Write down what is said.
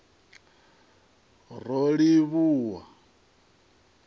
rolivhuwa